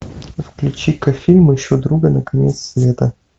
включи ка фильм ищу друга на конец света